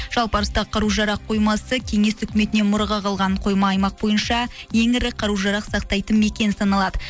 жалпы арыстағы қару жарақ қоймасы кеңес үкіметінен мұраға қалған қойма аймақ бойынша ең ірі қару жарақ сақтайтын мекен саналады